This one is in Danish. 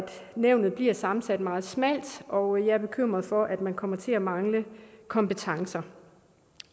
nævnet bliver sammensat meget smalt og jeg er bekymret for at man kommer til at mangle kompetencer